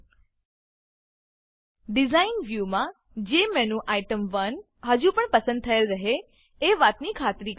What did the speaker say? design design વ્યુમાં જેમેન્યુટેમ1 હજુપણ પસંદ થયેલ રહે એ વાતની ખાતરી કરી લો